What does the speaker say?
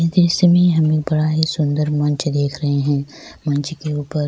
جس میں ہم بڑا ہی سندر منچ دیکھ رہے ہیں منچ کے اوپر